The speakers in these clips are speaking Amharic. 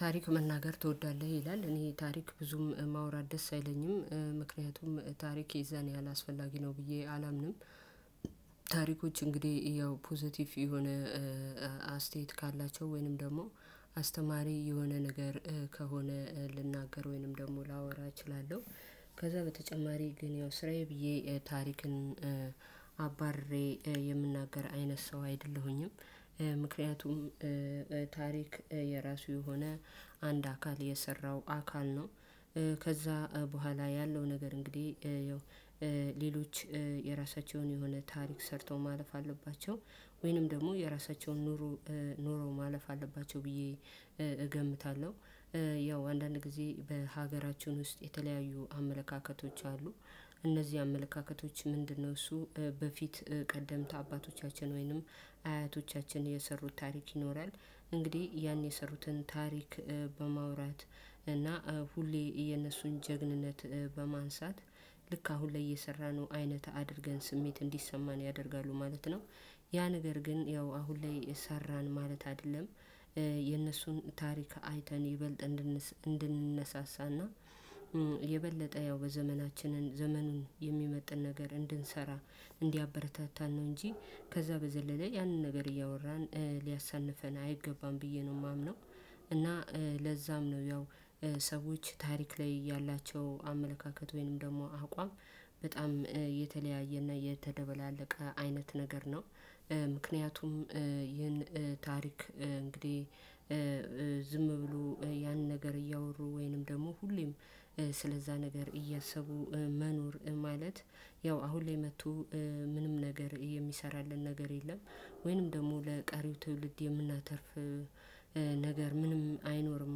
ታሪክ መናገር ትወዳለህ ይላል እኔ ታሪክ ብዙም ማውራት ደስ አይለኝም ምክንያቱም ታሪክ የዛን ያህል አስፈላጊ ነው ብዬ አላምንም። ታሪኮች እንግዲህ ያው ፖዘቲቭ የሆነ አስተያየት ካላቸው ወይንም ደግሞ አስተማሪ የሆነ ነገር ከሆነ ልናገር ወይንም ደግሞ ላወራ እችላለሁ ከዛ በተጨማሪ ግን ያው ስራዬ ብዬ ታሪክን አባርሬ የምናገር አይነት ሰው አይደለሁኝም። ምክንያቱም ታሪክ የራሱ የሆነ አንድ አካል የሰራው አካል ነው። ከዛ በኋላ ያለው ነገር እንግዲህ ያው የራሳቸውን የሆነ ታሪክ ሰርተው ማለፍ አለባቸው ወይንም ደግሞ የራሳቸውን ኑሮ ኑሮ ማለፍ አለባቸው ብዬ እገምታለሁ። ያው አንዳንድ ጊዜ በሀገራችን ውስጥ የተለያዩ አመለካከቶች አሉ። እነዚህ አመለካከቶች ምንድነው? እሱ በፊት ቀደምት አባቶቻችን ወይንም አያቶቻችን የሰሩት ታሪክ ይኖራል እንግዲህ ያን የሰሩትን ታሪክ በማውራት እና ሁሌ የነሱን ጀግንነት በማንሳት ልክ አሁን ላይ የሰራነው አይነት አድርገን ስሜት እንዲሰማን ያደርጋሉ ማለት ነው። ያ ነገር ግን ያው አሁን ላይ ሰራን ማለት አይደለም። የነሱን ታሪክ አይተን ይበልጥ እንድንነሳሳና የበለጠ ያው በዘመናችን ዘመኑን የሚመጥን ነገር እንድንሰራ እንዲያበረታታን ነው እንጂ ከዛ በዘለለ ያንን ነገር እያወራን ሊያሳንፈን አይገባም ብዬ ነው የማምነው። እና ለዛም ነው ያው ሰዎች ታሪክ ላይ ያላቸው አመለካከት ወይንም ደግሞ አቋም በጣም የተለያየና የተደባለቀ አይነት ነገር ነው። ምክንያቱም ይህን ታሪክ እንግዲህ ዝም ብሎ ያን ነገር እያወሩ ወይንም ደግሞ ሁሌም ስለዛ ነገር እያሰቡ መኖር ማለት ያው አሁን ላይ መጥቶ ምንም ነገር የሚሰራልን ነገር የለም ወይንም ደግሞ ለቀሪው ትውልድ የምናተርፍ ነገር ምንም አይኖርም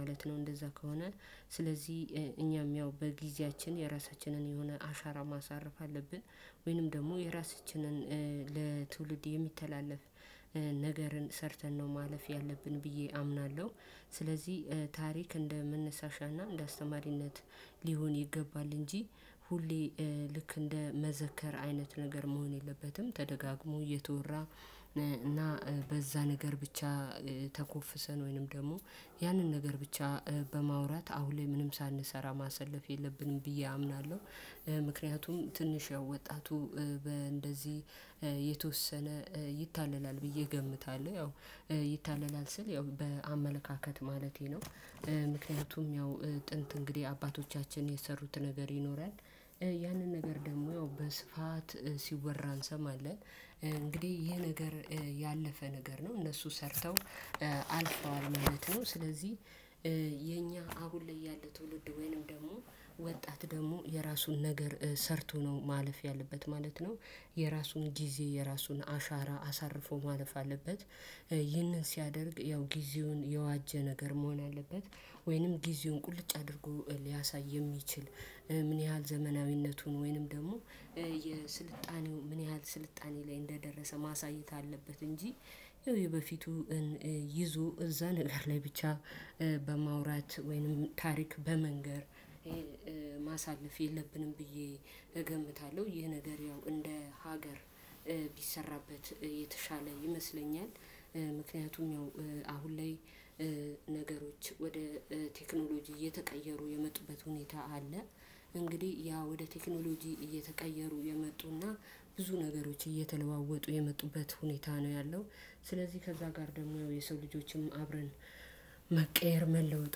ማለት ነው። እንደዛ ከሆነ ስለዚህ እኛም ያው በጊዜያችን የራሳችንን የሆነ አሻራ ማሳረፍ አለብን። ወይንም ደግሞ የራሳችንን ለትውልድ የሚተላለፍ ነገርን ሰርተን ነው ማለፍ ያለብን ብዬ አምናለሁ። ስለዚህ ታሪክ እንደ መነሳሻና እንደ አስተማሪነት ሊሆን ይገባል እንጂ ሁሌ ልክ እንደ መዘከር አይነት ነገር መሆን የለበትም ተደጋግሞ እየተወራ እና በዛ ነገር ብቻ ተኮፍሰን ወይንም ደግሞ ያንን ነገር ብቻ በማውራት አሁን ላይ ምንም ሳንሰራ ማሰለፍ የለብንም ብዬ አምናለሁ። ምክንያቱም ትንሽ ያው ወጣቱ በእንደዚህ የተወሰነ ይታለላል ብዬ እገምታለሁ ያው ይታለላል ስል ያው በአመለካከት ማለቴ ነው። ምክንያቱም ያው ጥንት እንግዲህ አባቶቻችን የሰሩት ነገር ይኖራል። ያንን ነገር ደግሞ በስፋት ሲወራ እንሰማለን። እንግዲህ ይሄ ነገር ያለፈ ነገር ነው እነሱ ሰርተው አልፈዋል ማለት ነው። ስለዚህ አሁን ላይ ያለ ትውልድ ወይንም ደግሞ ወጣት ደግሞ የራሱን ነገር ሰርቶ ነው ማለፍ ያለበት ማለት ነው። የራሱን ጊዜ የራሱን አሻራ አሳርፎ ማለፍ አለበት። ይህንን ሲያደርግ ያው ጊዜውን የዋጀ ነገር መሆን አለበት። ወይንም ጊዜውን ቁልጭ አድርጎ ሊያሳይ የሚችል ምን ያህል ዘመናዊነቱን ወይንም ደግሞ የስልጣኔው ምን ያህል ስልጣኔ ላይ እንደደረሰ ማሳየት አለበት እንጂ ይኸው የበፊቱን ይዞ እዛ ነገር ላይ ብቻ በማውራት ወይንም ታሪክ በመንገር ማሳለፍ የለብንም ብዬ እገምታለሁ። ይህ ነገር ያው እንደ ሀገር ቢሰራበት የተሻለ ይመስለኛል። ምክንያቱም አሁን ላይ ነገሮች ወደ ቴክኖሎጂ እየተቀየሩ የመጡበት ሁኔታ አለ። እንግዲህ ያ ወደ ቴክኖሎጂ እየተቀየሩ የመጡና ብዙ ነገሮች እየተለዋወጡ የመጡበት ሁኔታ ነው ያለው። ስለዚህ ከዛ ጋር ደግሞ የሰው ልጆችም አብረን መቀየር መለወጥ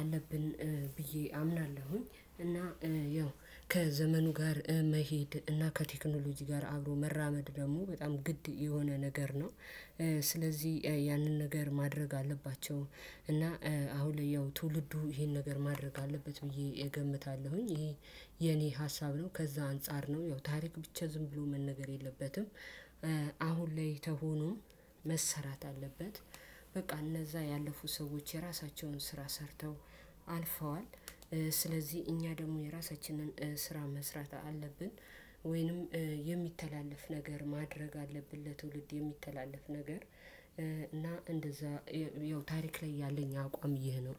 አለብን ብዬ አምናለሁኝ። እና ያው ከዘመኑ ጋር መሄድ እና ከቴክኖሎጂ ጋር አብሮ መራመድ ደግሞ በጣም ግድ የሆነ ነገር ነው። ስለዚህ ያንን ነገር ማድረግ አለባቸው እና አሁን ላይ ያው ትውልዱ ይሄን ነገር ማድረግ አለበት ብዬ እገምታለሁኝ። ይሄ ሀሳብ ነው ከዛ አንፃር ነው ያው ታሪክ ብቻ ዝም ብሎ መነገር የለበትም። አሁን ላይ ተሆኖ መሰራት አለበት። በቃ እነዛ ያለፉት ሰዎች የራሳቸውን ስራ ሰርተው አልፈዋል። ስለዚህ እኛ ደግሞ የራሳችንን ስራ መስራት አለብን። ወይንም የሚተላለፍ ነገር ማድረግ አለብን ለትውልድ የሚተላለፍ ነገር እና እንደዛ ያው ታሪክ ላይ ያለኝ አቋም ይህ ነው።